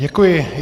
Děkuji.